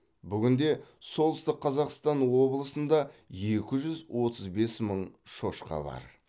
бүгінде солтүстік қазақстан облысында екі жүз отыз бес мың шошқа бар